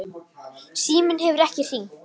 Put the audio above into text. Síminn hefur ekkert hringt.